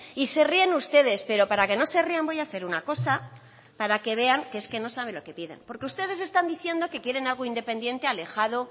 y se ríen ustedes pero para que no se rían voy a hacer una cosa para que vean que no saben lo que piden porque ustedes están diciendo que quieren algo independiente alejado